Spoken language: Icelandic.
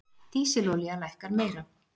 Dísilolía lækkar meira